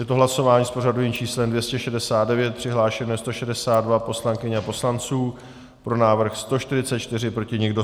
Je to hlasování s pořadovým číslem 269, přihlášeno je 162 poslankyň a poslanců, pro návrh 144, proti nikdo.